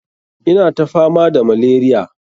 Ina ta fama da malaria.